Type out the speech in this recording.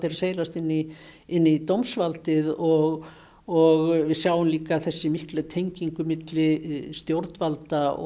að seilast inn í inn í dómsvaldið og og við sjáum líka þessa miklu tengingu milli stjórnvalda og